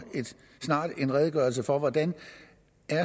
en redegørelse for hvordan